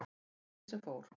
Fór því sem fór.